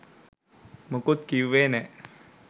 මුකුත් කිව්වේ නෑ